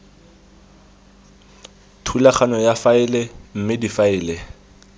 thulaganyo ya faele mme difaele